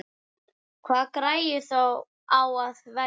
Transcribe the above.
Hvaða græju á að velja?